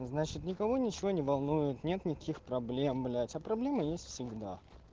значит никого ничего не волнует нет никаких проблем блять а проблемы есть всегда